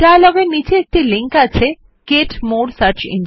ডায়লগের নীচে একটি লিংক আছে গেট মোরে সার্চ engines